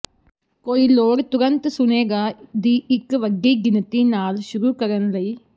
ਕੋਈ ਲੋੜ ਤੁਰੰਤ ਸੁਣੇਗਾ ਦੀ ਇੱਕ ਵੱਡੀ ਗਿਣਤੀ ਨਾਲ ਸ਼ੁਰੂ ਕਰਨ ਲਈ